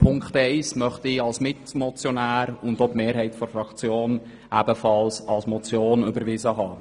Ziffer 1 möchte ich als Mitmotionär – und ebenfalls meine Fraktion – als Motion überwiesen haben.